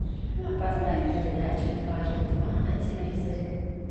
поставь передачу дважды два на телевизоре